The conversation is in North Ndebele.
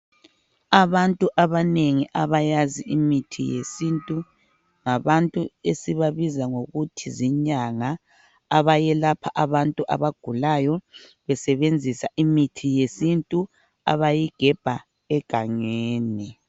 Abantu abanengi abakwazi imithi yesintu ngabantu esibabiza ngokuthi zinyanga abayelapha abantu abagulayo besebenzisa imithi yesintu abayigebha egangeni